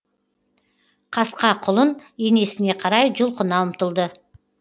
қасқа құлын енесіне қарай жұлқына ұмтылды